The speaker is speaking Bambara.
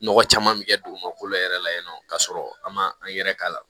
Nɔgɔ caman bɛ kɛ dugumakolo yɛrɛ la yen nɔ k'a sɔrɔ an ma an yɛrɛ k'a la